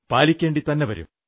പാലിക്കേണ്ടിത്തന്നെ വരും